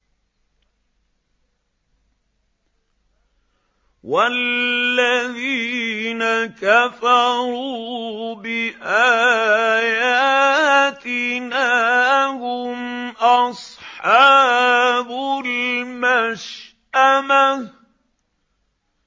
وَالَّذِينَ كَفَرُوا بِآيَاتِنَا هُمْ أَصْحَابُ الْمَشْأَمَةِ